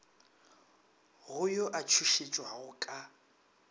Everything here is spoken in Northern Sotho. go yo a tšhošetšwago ka